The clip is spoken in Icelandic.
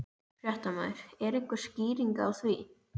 Fréttamaður: Er einhver skýring á því?